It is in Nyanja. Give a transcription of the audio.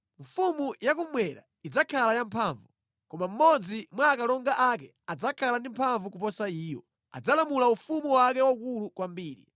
“Mfumu ya kummwera idzakhala yamphamvu, koma mmodzi mwa akalonga ake adzakhala ndi mphamvu kuposa iyo; adzalamulira ufumu wake waukulu kwambiri.